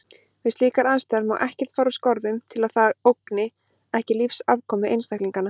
Við slíkar aðstæður má ekkert fara úr skorðum til að það ógni ekki lífsafkomu einstaklinganna.